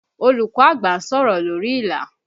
Olùkọ́ àgbà ń sọ̀rọ̀ lórí ìlà